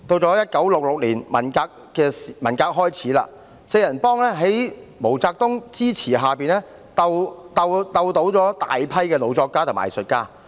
到1966年，文革開始，四人幫在毛澤東支持下鬥倒大批老作家和藝術家。